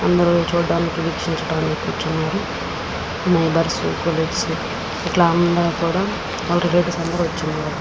అక్కడ ఇద్దరు మనుషులు ఉన్నారు. ఒక అమ్మాయి ఒక అబ్బాయి. వాలు మొక్కలని అమ్ముతున్నారు.